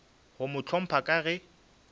go mo hlompha ka ge